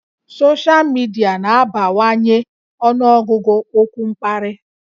Soshal midia na-abawanye ọnụọgụgụ okwu mkparị